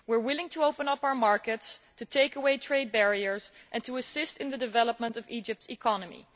We are willing to open up our markets, to take away trade barriers and to assist in the development of Egypt's economy.